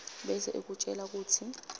bese ikutjela kutsi